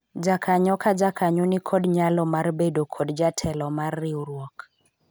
jakanyo ka jakanyo nikod nyalo mar bedo kod jatelo mar riwruok